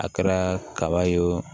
A kɛra kaba ye o